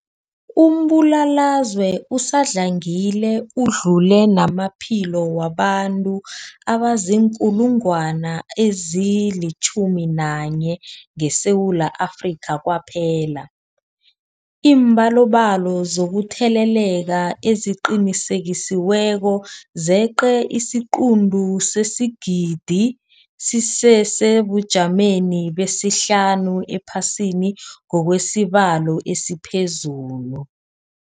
Umbulalazwe usadlangile udlule namaphilo wabantu abaziinkulungwana ezi-11 ngeSewula Afrika kwaphela. Iimbalobalo zokutheleleka eziqinisekisiweko zeqe isiquntu sesigidi, sisesebujameni besihlanu ephasini ngokwesibalo esiphezulu.